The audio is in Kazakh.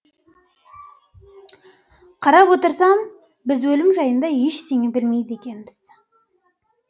қарап отырсам біз өлім жайында ештеңе білмейді екенбіз